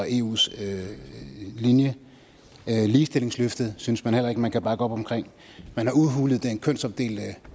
eus linje ligestillingsløftet synes man heller ikke man kan bakke op omkring man har udhulet den kønsopdelte